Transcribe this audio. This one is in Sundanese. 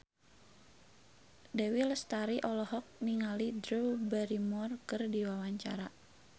Dewi Lestari olohok ningali Drew Barrymore keur diwawancara